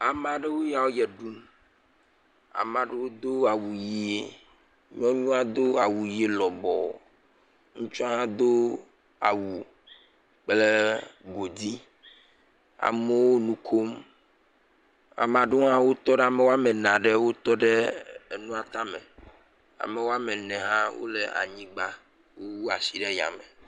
Amea ɖewo ya ʋe ɖum, amea ɖewo do awu ʋe, nyɔnua do awu ʋe lɔbɔɔ, ŋutsua hã do awu kple godi, amewo nu kom, amea ɖewo hã, ame woame ene wotɔ ɖe enua tame, ame woame ene hã wole anyigba wu asi ɖe yame.